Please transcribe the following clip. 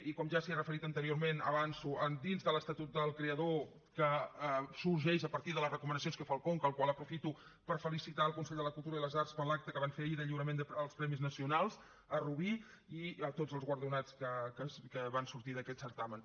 i com que ja s’hi ha referit anteriorment avanço dins de l’estatut del creador que sorgeix a partir de les recomanacions que fa el conca i aprofito per felicitar el consell de la cultura i de les arts per l’acte que van fer ahir de lliurament dels premis nacionals a rubí i tots els guardonats que van sortir d’aquest certamen